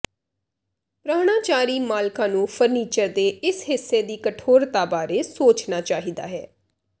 ਪਰਾਹੁਣਚਾਰੀ ਮਾਲਕਾਂ ਨੂੰ ਫਰਨੀਚਰ ਦੇ ਇਸ ਹਿੱਸੇ ਦੀ ਕਠੋਰਤਾ ਬਾਰੇ ਸੋਚਣਾ ਚਾਹੀਦਾ ਹੈ